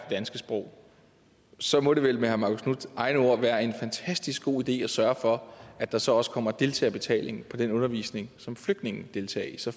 danske sprog så må det vel med herre marcus knuths egne ord være en fantastisk god idé at sørge for at der så også kommer deltagerbetaling på den undervisning som flygtninge deltager i så